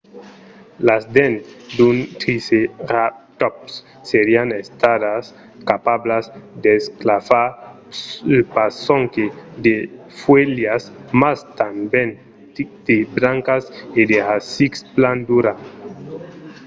las dents d’un triceratòps serián estadas capablas d'esclafar pas sonque de fuèlhas mas tanben de brancas e de rasics plan duras